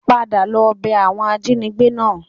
Padà lọ bẹ àwọn ajínigbé náà